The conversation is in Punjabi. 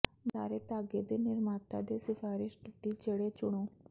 ਬੁਲਾਰੇ ਧਾਗੇ ਦੇ ਨਿਰਮਾਤਾ ਨੇ ਸਿਫਾਰਸ਼ ਕੀਤੀ ਜਿਹੜੇ ਚੁਣੋ